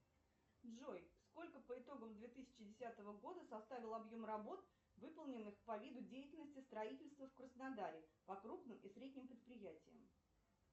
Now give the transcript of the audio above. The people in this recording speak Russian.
джой сколько по итогам две тысячи десятого года составил объем работ выполненных по виду деятельности строительство в краснодаре по крупным и средним предприятиям